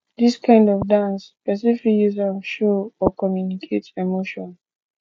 dis kind of dance person fit use am show or communicate emotion